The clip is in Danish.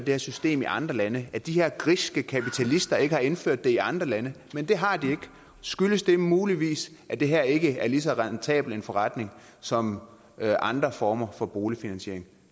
her system i andre lande at de her griske kapitalister ikke har indført det i andre lande men det har de ikke skyldes det muligvis at det her ikke er lige så rentabel en forretning som andre former for boligfinansiering